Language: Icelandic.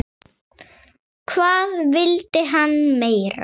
Hvað vildi hann meira?